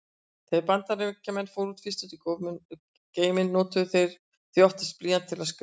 Þegar Bandaríkjamenn fóru fyrst út í geiminn notuðu þeir því oftast blýanta til að skrifa.